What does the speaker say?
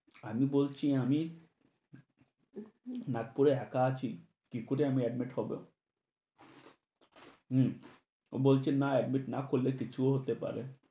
আমি বলছি আমি নাগপুরে একা আছি, কি করে আমি admit হবো? হু, বলছে না admit না করলে কিচ্ছু হতে পারে